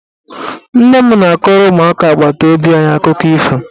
Nne m na-akọrọ ụmụaka agbataobi anyị akụkọ ifo.